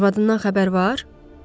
Arvadından xəbər var?